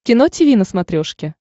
кино тиви на смотрешке